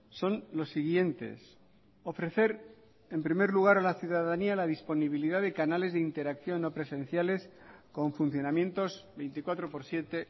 son los siguientes ofrecer en primer lugar a la ciudadanía la disponibilidad de canales de interacción no presenciales con funcionamientos veinticuatro por siete